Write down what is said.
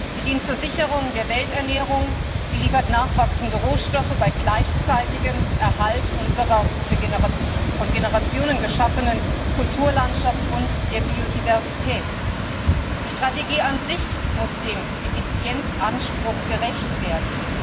Sie dient zur Sicherung der Welternähung, sie liefert nachwachsende Rohstoffe bei gleichzeitigem Erhalt unserer von Generationen geschaffenen Kulturlandschaft und der Biodiversität. Die Strategie an sich muss dem Effizienzanspruch gerecht werden.